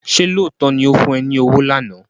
Ṣé lóòótọ́ ni ó fún ẹ ní owó lánàá?